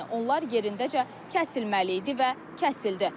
Yəni onlar yerindəcə kəsilməli idi və kəsildi.